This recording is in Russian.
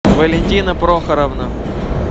валентина прохоровна